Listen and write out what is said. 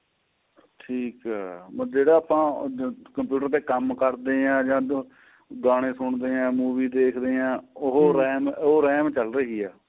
ਠੀਕ ਏ ਜਿਹੜਾ ਆਪਾਂ computer ਦੇ ਕੰਮ ਕਰਦੇ ਹਾਂ ਜਾਂ ਗਾਣੇ ਸੁੰਨਦਿਆਂ movie ਦੇਖਦੇ ਹਾਂ ਉਹ RAM ਉਹRAM ਚੱਲ ਰਹੀ ਏ